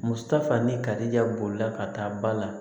Muso ta fani karija bolila ka taa ba la